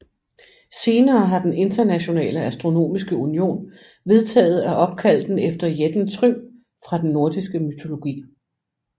Senere har den Internationale Astronomiske Union vedtaget at opkalde den efter jætten Trym fra den nordiske mytologi